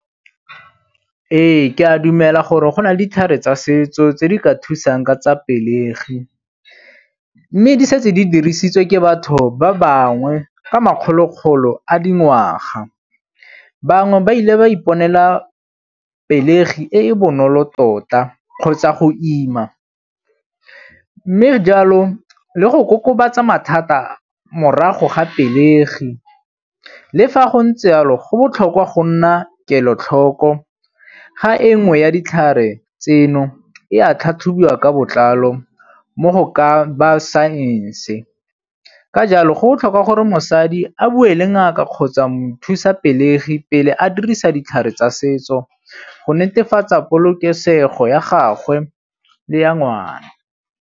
Ee, ke a dumela gore go na le ditlhare tsa setso tse di ka thusang ka tsa pelegi mme di setse di dirisitswe ke batho ba bangwe ka makgolo-kgolo a dingwaga. Bangwe ba ile ba iponela pelegi e e bonolo tota kgotsa go ima mme jalo le go kokobatsa mathata morago ga pelegi. Le fa go ntse yalo go botlhokwa go nna kelotlhoko ga e nngwe ya ditlhare tseno e a tlhatlhobiwa ka botlalo mo go ka ba saense. Ka jalo go botlhokwa gore mosadi a bua le ngaka kgotsa mothusapelegi pele a dirisa ditlhare tsa setso go netefatsa polokesego ya gagwe le ya ngwana.